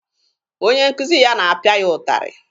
Onye nkuzi ya na-apịa ya ụtarị.